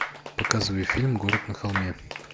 показывай фильм город на холме